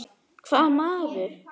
Hvaða maður?